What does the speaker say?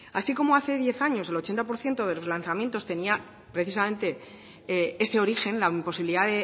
así como hace diez años el ochenta por ciento de los lanzamientos tenía precisamente ese origen la imposibilidad